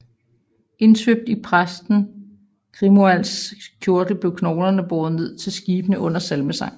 Indsvøbt i præsten Grimoalds kjortel blev knoglerne båret ned til skibene under salmesang